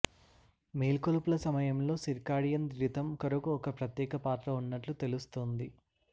మేల్కొలుపుల సమయములో circadian rhythm కొరకు ఒక ప్రత్యేక పాత్ర ఉన్నట్లు తెలుస్తోంది